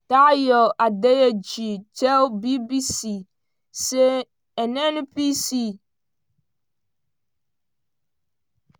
tayo adeyeji tell bbc say nnpc don solve di delay wey bin